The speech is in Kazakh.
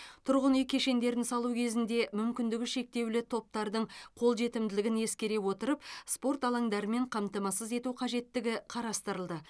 тұрғын үй кешендерін салу кезінде мүмкіндігі шектеулі топтардың қолжетімділігін ескере отырып спорт алаңдарымен қамтамасыз ету қажеттігі қарастырылды